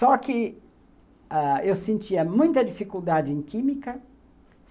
Só que ãh eu sentia muita dificuldade em química.